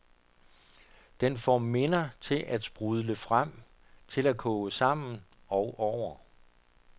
Den får minder til at sprudle frem, til at koge sammen og over.